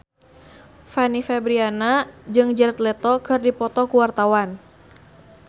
Fanny Fabriana jeung Jared Leto keur dipoto ku wartawan